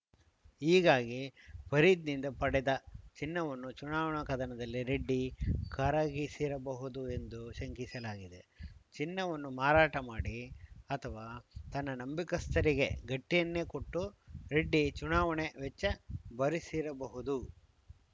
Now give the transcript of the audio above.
ಹೀಗಾಗಿ ಫರೀದ್‌ನಿಂದ ಪಡೆದ ಚಿನ್ನವನ್ನು ಚುನಾವಣಾ ಕದನದಲ್ಲಿ ರೆಡ್ಡಿ ಕರಗಿಸಿರಬಹುದು ಎಂದು ಶಂಕಿಸಲಾಗಿದೆ ಚಿನ್ನವನ್ನು ಮಾರಾಟ ಮಾಡಿ ಅಥವಾ ತನ್ನ ನಂಬಿಕಸ್ಥರಿಗೆ ಗಟ್ಟಿಯನ್ನೇ ಕೊಟ್ಟು ರೆಡ್ಡಿ ಚುನಾವಣೆ ವೆಚ್ಚ ಭರಿಸಿರಬಹುದು